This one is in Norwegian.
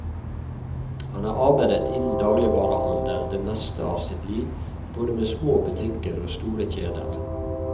Han har arbeidet innen dagligvarehandelen det meste av sitt liv, både med små butikker og store kjeder.